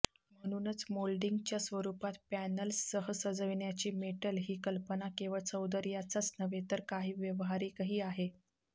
म्हणूनच मोल्डिंगच्या स्वरूपात पॅनल्ससह सजवण्याची मेटल ही कल्पना केवळ सौंदर्याचाच नव्हे तर काही व्यावहारिकही आहे